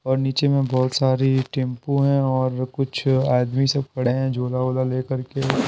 और नीचे में बहुत सारी टेंपू हैं और कुछ आदमी सब खड़े हैं जोला वला लेकर के।